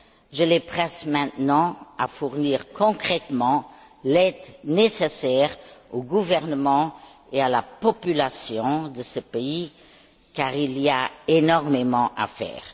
Je les presse maintenant de fournir, concrètement, l'aide nécessaire au gouvernement et à la population de ce pays, car il y a énormément à faire.